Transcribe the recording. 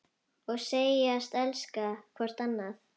Og segjast elska hvort annað.